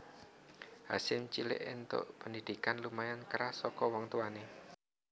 Hasyim cilik entuk pendhidhikan lumayan keras saka wong tuwane